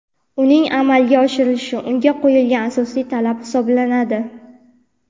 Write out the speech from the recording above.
uning amalga oshirilishi unga qo‘yilgan asosiy talab hisoblanadi:.